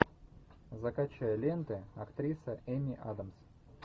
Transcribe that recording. закачай ленты актриса эми адамс